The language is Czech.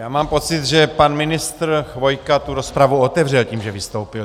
Já mám pocit, že pan ministr Chvojka tu rozpravu otevřel tím, že vystoupil.